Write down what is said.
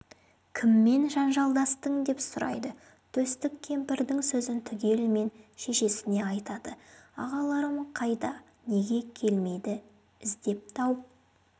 кіммен жанжалдастың деп сұрайды төстік кемпірдің сөзін түгелімен шешесіне айтады ағаларым қайда неге келмейді іздеп тауып